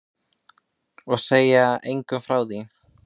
Og segja engum frá því.